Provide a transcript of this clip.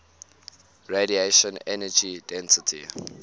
radiation energy density